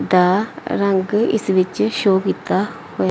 ਦਾ ਰੰਗ ਇਸ ਵਿੱਚ ਸ਼ੋਅ ਕੀਤਾ ਹੋ --